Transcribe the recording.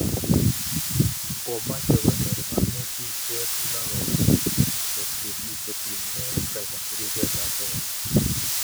Komoche konyor kanetisiet neo kotiny kei ak ripset ap sagamik